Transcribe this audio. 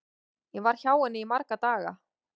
Ég var hjá henni í marga daga.